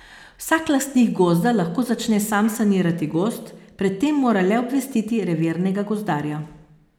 Vsak lastnik gozda lahko začne sam sanirati gozd, pred tem mora le obvestiti revirnega gozdarja.